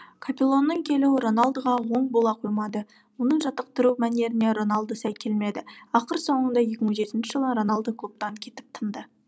капеллоның келуі роналдоға оң бола қоймады оның жаттықтыру мәнеріне роналдо сай келмеді ақыр соңында екі мың жетінші жылы роналдо клубтан кетіп тынды